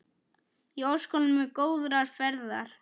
Ég óska honum góðrar ferðar.